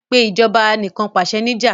Pe Ìṣèjọba Anìkànpàṣẹ ní'jà!